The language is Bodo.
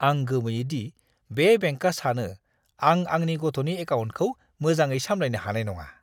आं गोमोयो दि बे बेंकआ सानो आं आंनि गथ'नि एकाउन्टखौ मोजाङै सामलायनो हानाय नङा।